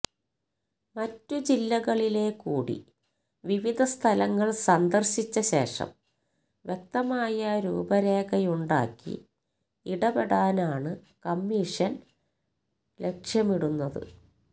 മറ്റ് ജില്ലകളിലെ കൂടി വിവിധ സ്ഥലങ്ങള് സന്ദര്ശിച്ച ശേഷം വ്യക്തമായ രൂപരേഖയുണ്ടാക്കി ഇടപെടാനാണ് കമിഷന് ലക്ഷ്യമിടുന്നത്